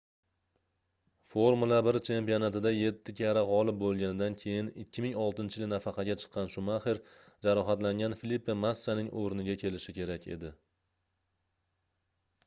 formula 1 chempionatida yetti karra gʻolib boʻlganida keyin 2006-yili nafaqaga chiqqan shumaxer jarohatlangan filipe massaning oʻrniga kelishi kerak edi